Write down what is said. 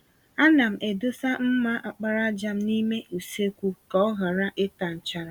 Ana m edosa mma àkpàràjà m n'ime usekwu ka ọ ghara ịta nchara.